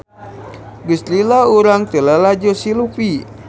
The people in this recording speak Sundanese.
Geus lila urang teu lalajo si Luffy